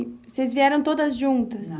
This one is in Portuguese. vocês vieram todas juntas?